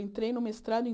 Eu entrei no mestrado em